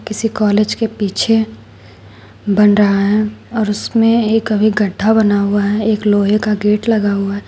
किसी कॉलेज के पीछे बन रहा है और उसमें एक अभी गड्ढा बना हुआ है एक लोहे का गेट लगा हुआ है।